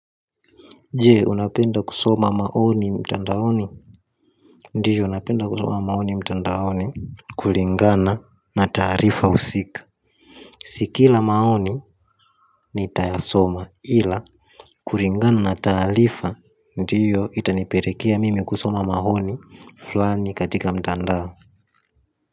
Je, unapenda kusoma maoni mtandaoni? Ndiyo napenda kusoma maoni mtandaoni. Kulingana na taarifa husika si kila maoni nitayasoma ila kulingana na taarifa ndiyo itaniperekea mimi kusoma maoni fulani katika mtandao.